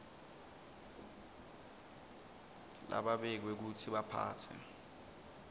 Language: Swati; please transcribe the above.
lababekwe kutsi baphatse